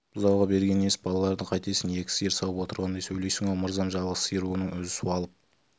бұзауға бергені несі балаларыңды қайтесің екі сиыр сауып отырғандай сөйлейсің-ау мырзам жалғыз сиыр оның өзі суалып